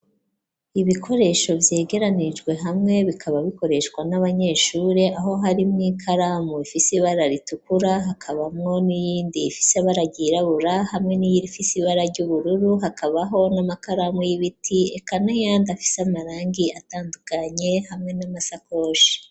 Ibikoresho vyegeranijwe hamwe bikaba bikoreshwa n'abanyeshuri aho harimwo ikaramu ifise ibararitukura hakabamwo n'iyindi ifise baragyirabura hamwe n'iyirifisi ibara ry'ubururu hakabaho n'amakaramu y'ibiti eka nayandi afise amarangi atandukanye hamwe n'amasakoshi.